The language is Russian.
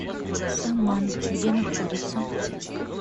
саман где находится